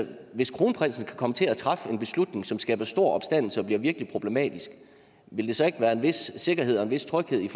hvis kronprinsen kan komme til at træffe en beslutning som skaber stor opstandelse og er virkelig problematisk vil der så ikke være en vis sikkerhed og en vis tryghed i